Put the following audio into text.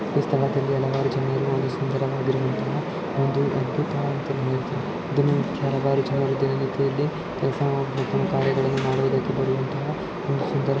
ಈ ಸ್ಥಳದಲ್ಲಿ ಹಲವಾರು ಜನರು ಒಂದು ಸುಂದರ ವಾಗಿರುವಂತಹ ಒಂದು ಅದ್ಬುತ ಅಂತಾನೆ ಹೇಳ್ತಿವಿ. ಇದನ್ನು ಕೆಲವಾರು ಜನರು ದಿನನಿತ್ಯದಲ್ಲಿ ಕೆಲಸ ಹಾಗು ತಮ್ಮ ಕಾರ್ಯಗಳನ್ನು ಮಾಡುವುದಕ್ಕೆ ಬರುವಂತಹ ಒಂದು ಸುಂದರ --